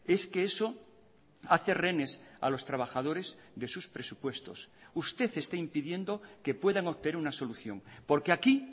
es que eso hace rehenes a los trabajadores de sus presupuestos usted está impidiendo que puedan obtener una solución porque aquí